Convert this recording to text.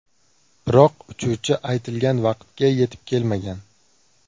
Biroq uchuvchi aytilgan vaqtga yetib kelmagan.